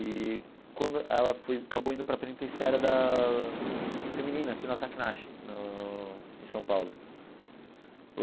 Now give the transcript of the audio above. E quando ela foi acabou indo para a penitenciária da feminina, aqui na Zaki Narchi, no em São Paulo.